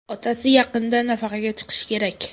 Otasi yaqinda nafaqaga chiqishi kerak.